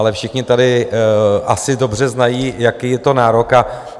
Ale všichni tady asi dobře znají, jaký je to nárok.